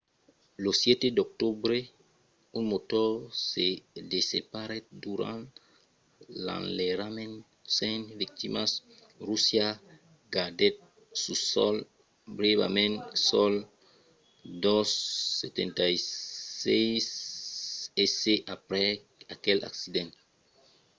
lo 7 d'octobre un motor se desseparèt durant l'enlairament sens victimas. russia gardèt sul sòl brèvament sos ii-76s aprèp aquel accident